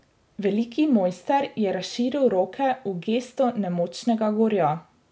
Veliki moister je razširil roke v gesto nemočnega gorja.